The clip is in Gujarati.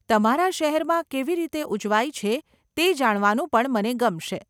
તમારા શહેરમાં તે કેવી રીતે ઉજવાય છે તે જાણવાનું પણ મને ગમશે.